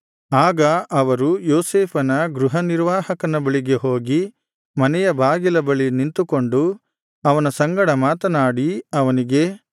ಆಗ ಅವರು ಯೋಸೇಫನ ಗೃಹನಿರ್ವಾಹಕನ ಬಳಿಗೆ ಹೋಗಿ ಮನೆಯ ಬಾಗಿಲ ಬಳಿ ನಿಂತುಕೊಂಡು ಅವನ ಸಂಗಡ ಮಾತನಾಡಿ ಅವನಿಗೆ